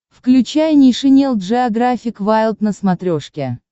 включай нейшенел джеографик вайлд на смотрешке